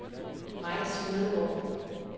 Mike Smedegaard